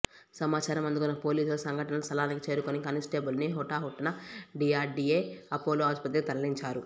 సమాచారం అందుకున్న పోలీసులు సంఘటను స్థలానికి చేరుకొని కానిస్టేబుల్ను హుటాహుటిన డిఆర్డీఏ ఆపోలో ఆసుపత్రికి తరలించారు